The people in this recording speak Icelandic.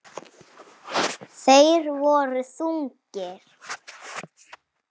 Þeir voru þungir.